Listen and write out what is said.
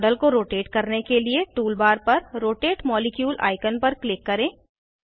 model को rotate करने के लिए टूलबार पर रोटेट मॉलिक्यूल आइकन पर क्लिक करें